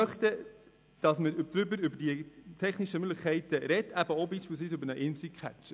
Wir möchten, dass wir über die technischen Möglichkeiten sprechen, also beispielsweise auch über den Imsi-Catcher.